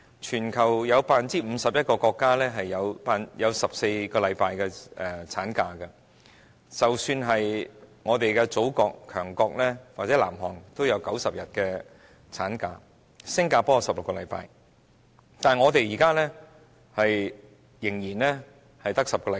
全球有 51% 國家的產假是14星期，即使是我們的祖國、強國或南韓的產假也有90天，新加坡則有16星期，但我們現時仍然只有10星期。